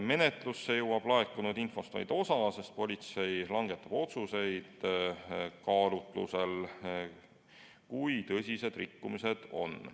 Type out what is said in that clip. Menetlusse jõuab laekunud infost vaid osa, sest politsei langetab otsuseid kaalutlusel, kui tõsised rikkumised on.